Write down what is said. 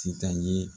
Sitan ye